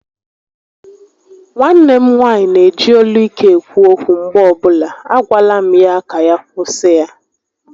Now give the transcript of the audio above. Nwanne m nwaanyị neji olu ike ekwu okwu mgbe ọbụla, a gwala m ya ka ya kwụsị ya